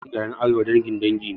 Yawancin iyalan arewa dangin dangi ne